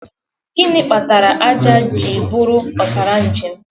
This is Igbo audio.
Gịnị kpatara ájá ji bụrụ ọkara njem?